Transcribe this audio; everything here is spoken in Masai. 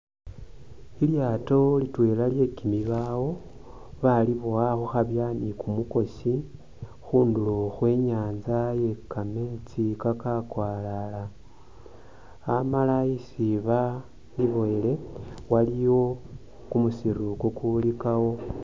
Ilyaato litweela lwe kimibaawo balibowa khukhabya ni kumukosi khundulo khwe nyaatsa ye kameetsi kakakwalala amaala isi bakiboyele waliwo kumusiru kukulikawo.